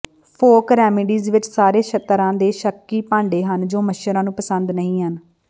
folk remedies ਵਿਚ ਸਾਰੇ ਤਰ੍ਹਾਂ ਦੇ ਸ਼ੱਕੀ ਭਾਂਡੇ ਹਨ ਜੋ ਮੱਛਰਾਂ ਨੂੰ ਪਸੰਦ ਨਹੀਂ ਹਨ